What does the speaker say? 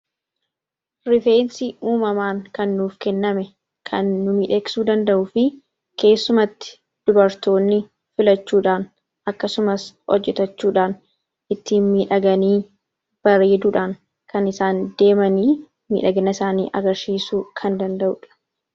Rifeensi uumamaan kan nuuf kenname kan nu miidhagsuu danda’uu fi keessumatti dubartoonni filachuudhaan akkasumas hojjetachuudhaan ittiin miidhaganii bareedanii kan isaan deeman. Miidhagina isaanii agarsiisuu kan danda’udha.